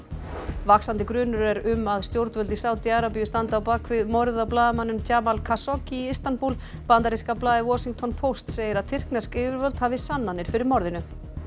vaxandi grunur er um að stjórnvöld í Sádi Arabíu standi á bak við morð á blaðamanninum Jamal Khashoggi í Istanbúl bandaríska blaðið Washington Post segir að tyrknesk yfirvöld hafi sannanir fyrir morðinu